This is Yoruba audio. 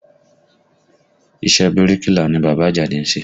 Iṣẹ́ bíríkìlà ni bàbá Àjàdí ń ṣe